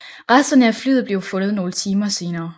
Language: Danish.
Resterne af flyet blev fundet nogle timer senere